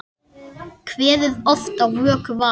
Kveðið oft á vöku var.